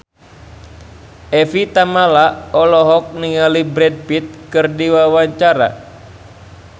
Evie Tamala olohok ningali Brad Pitt keur diwawancara